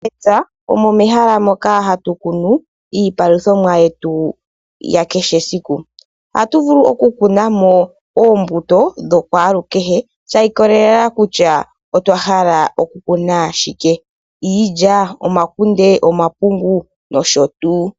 Mepya omo mehala moka ha tu kunu iipaluthomwa yetu ya kehe siku, oha tu vulu oku kunamo oombuto dhokwaalukeheshi ikolelela kutya otwahahala oku kuna shike, iilya, omakunde, omapungu, noshotuu.